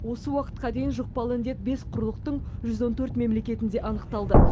осы уақытқа дейін жұқпалы індет бес құрлықтың жүз он төрт мемлекетінде анықталды